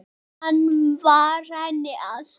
Hann var henni allt.